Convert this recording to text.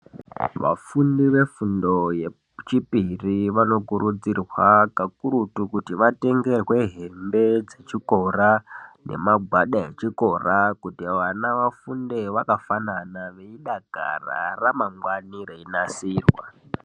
Vafundi vefundo yechipiri vanokurudzirwa kakurutu kuti vatenge kwehembe dzechikora nemagwada echikora kuti vana vafunde vakafanana veidakara, ramangwani reinasirwa.